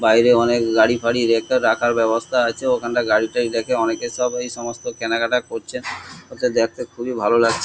বাইরে অনেক গাড়ি ফাড়ি রেখ- রাখার ব্যবস্থা আছে ওখানটা গাড়ি তাড়ি রেখে অনেকে সব ওই সমস্ত কেনাকাটা করছে ওতে দেখতে খুবই ভালো লাগছে।